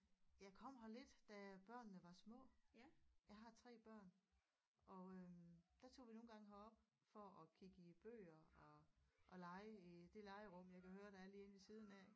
Jeg kom her lidt da børnene var små jeg har 3 børn og øh der tog vi nogle gange herop for at kigge i bøger og og lege i det legerum jeg kan høre der er lige inde ved siden af